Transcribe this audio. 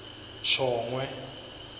shongwe